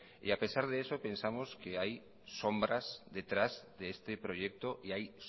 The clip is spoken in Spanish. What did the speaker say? y a pesar de eso pensamos que hay sombras detrás de este proyecto y hay